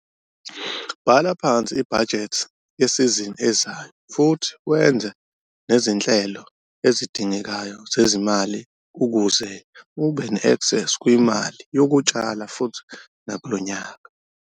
Bhala phansi ibhajethi yesizini ezayo futhi wenze nezinhlelo ezidingekayo zezimali ukuze ube neaksesi kwimali yokutshala futhi nakulo nyaka.